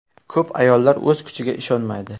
Ko‘p ayollar o‘z kuchiga ishonmaydi.